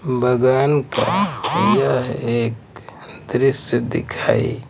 बगान का सजा है एक दृश्य दिखाई।